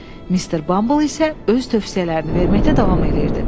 Mister Bumble isə öz tövsiyələrini verməkdə davam eləyirdi.